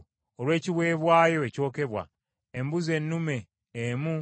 embuzi ennume emu nga ya kiweebwayo olw’ekibi;